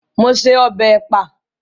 Mo se ọbẹ̀ ẹ̀pà